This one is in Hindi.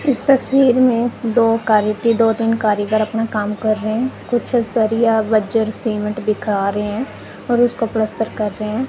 इस तस्वीर में दो कारी ती दो तीन कारीगर अपना काम कर रहे हैं कुछ सरिया बजर सीमेंट दिखा रहे हैं और उसको पलस्तर कर रहे हैं।